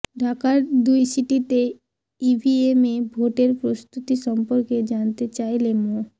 ঢাকার দুই সিটিতে ইভিএমে ভোটের প্রস্তুতি সম্পর্কে জানতে চাইলে মো